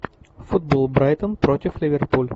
футбол брайтон против ливерпуль